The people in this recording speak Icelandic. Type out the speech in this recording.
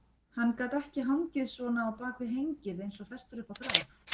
Hann gat ekki hangið svona á bak við hengið eins og festur upp á þráð.